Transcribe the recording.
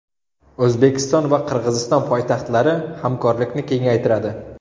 O‘zbekiston va Qirg‘iziston poytaxtlari hamkorlikni kengaytiradi .